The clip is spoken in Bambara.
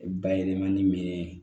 Bayɛlɛmani minɛn